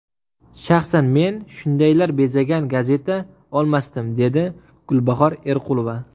Shaxsan men shundaylar bezagan gazeta olmasdim”, dedi Gulbahor Erqulova.